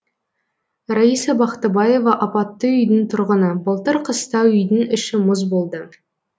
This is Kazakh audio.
раиса бақтыбаева апатты үйдің тұрғыны былтыр қыста үйдің іші мұзболды